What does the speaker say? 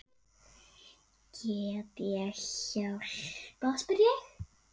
Get ég hjálpað spyr ég.